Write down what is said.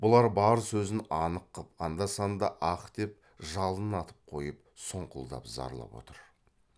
бұлар бар сөзін анық қып анда санда аһ деп жалын атып қойып сұңқылдап зарлап отыр